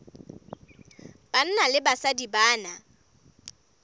banna le basadi ba na